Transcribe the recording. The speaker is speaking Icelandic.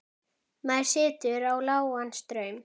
Maður setur á lágan straum.